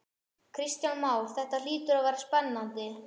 Kristján Már: Þetta hlýtur þá að vera spennandi?